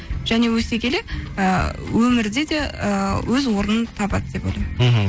және өсе келе і өмірде де ііі өз орнын табады деп ойлаймын мхм